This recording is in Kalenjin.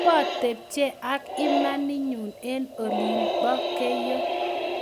po tepche ak imam imamenyu eng olin po keiyo